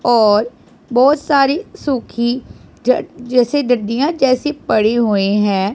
और बहोत सारी सुखी जैसे जट डंडियां जैसी पड़ी हुए हैं।